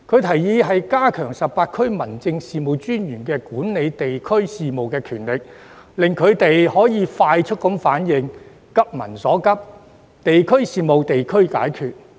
他建議加強18區民政事務專員管理地區事務的權力，令其可以快速作出反應，急民所急，"地區事務、地區解決"。